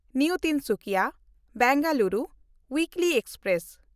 new ᱛᱤᱱᱥᱩᱠᱤᱭᱟ–ᱵᱮᱝᱜᱟᱞᱩᱨᱩ weekly express